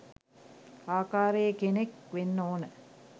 ආකාරයේ කෙනෙක් වෙන්න ඕන.